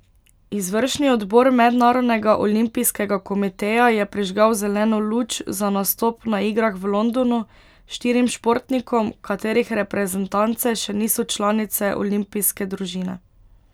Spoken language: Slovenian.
Izvršni odbor Mednarodnega olimpijskega komiteja je prižgal zeleno luč za nastop na igrah v Londonu štirim športnikom, katerih reprezentance še niso članice olimpijske družine.